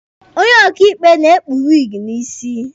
Onye ọkaịkpe na-ekpu wiigi n'isi.